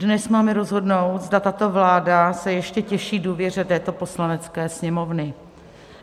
Dnes máme rozhodnout, zda tato vláda se ještě těší důvěře této Poslanecké sněmovny.